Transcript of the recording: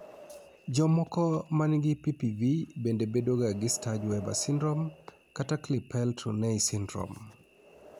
Jomoko manigi PPV bende bedo ga gi Sturge Weber syndrome kata Klippel Trenaunay syndrome.